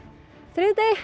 þriðjudegi